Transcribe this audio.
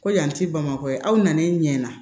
Ko yan ti bamakɔ yan aw nan'i ɲɛ na